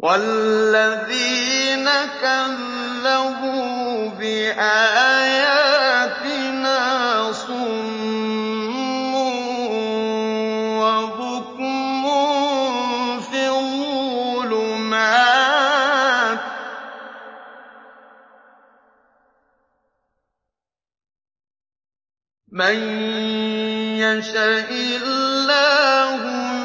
وَالَّذِينَ كَذَّبُوا بِآيَاتِنَا صُمٌّ وَبُكْمٌ فِي الظُّلُمَاتِ ۗ مَن يَشَإِ اللَّهُ